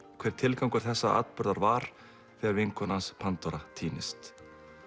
hver tilgangur þessa atburðar var þegar vinkona hans Pandóra týnist